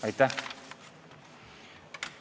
Aitäh!